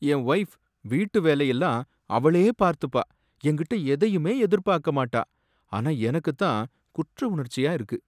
என் wife வீட்டு வேலையெல்லாம் அவளே பார்த்துப்பா, என்கிட்ட எதையுமே எதிர்பார்க்கமாட்டா, ஆனா எனக்கு தான் குற்றவுணர்ச்சியா இருக்கு